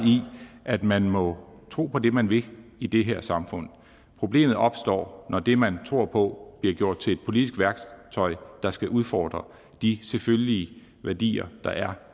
at man må tro på det man vil i det her samfund problemet opstår når det man tror på bliver gjort til et politisk værktøj der skal udfordre de selvfølgelige værdier der er